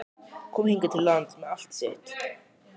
Komi hingað til lands með allt sitt?